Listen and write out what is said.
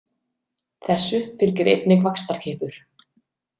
Þessu fylgir einnig vaxtarkippur.